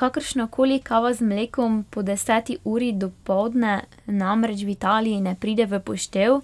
Kakršnakoli kava z mlekom po deseti uri dopoldne namreč v Italiji ne pride v poštev,